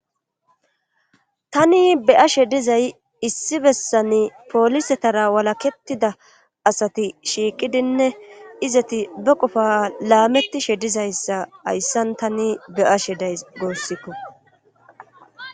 tani be7ashe dizay issi bessani poolisetarra walakettida asati shiiqidinne izeti be qofa laamettishe dizayssa hayssan tani be7ashe days guusikko.